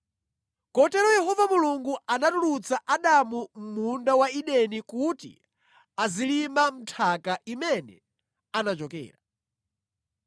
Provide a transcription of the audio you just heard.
Kotero Yehova Mulungu anatulutsa Adamu Mʼmunda wa Edeni kuti azilima mʼnthaka imene anachokera.